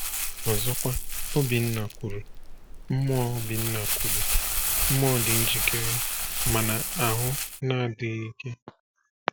Ọzọkwa, Obinna kwuru: “Mmụọ Obinna kwuru: “Mmụọ dị njikere, mana ahụ na-adịghị ike.”